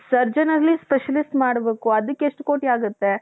surgeon ಆಗಿ specialist ಮಾಡ್ಬೇಕು ಅದಕ್ಕೆ ಎಷ್ಟು ಕೋಟಿ ಆಗುತ್ತೆ .